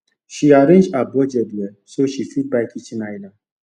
she arrange her budget well so she fit buy kitchen island